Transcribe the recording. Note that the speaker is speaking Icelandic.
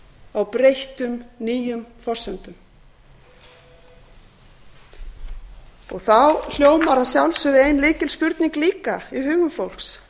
á breyttum nýjum forsendum þá hljómar að sjálfsögðu ein lykilspurning líka í hugum fólks